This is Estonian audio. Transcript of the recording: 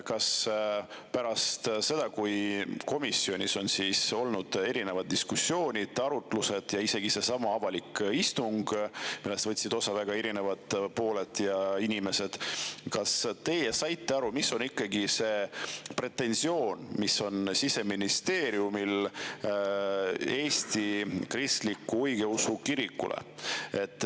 Kas pärast seda, kui komisjonis on olnud erinevad diskussioonid, arutlused ja isegi seesama avalik istung, millest võtsid osa erinevad osapooled ja inimesed, te saite aru, mis on ikkagi see pretensioon, mis on Siseministeeriumil Eesti Kristlikule Õigeusu Kirikule.